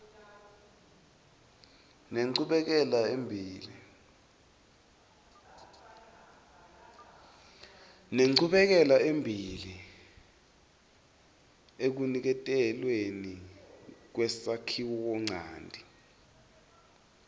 nenchubekelembili ekuniketelweni kwesakhiwonchanti